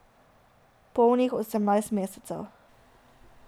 Polnih osemnajst mesecev.